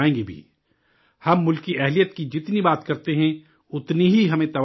ہم ملک کی جفاکشی کی جتنی بھی بات کرتے ہیں، اتنی ہی ہمیں توانائی ملتی ہے